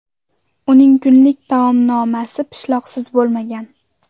Uning kunlik taomnomasi pishloqsiz bo‘lmagan.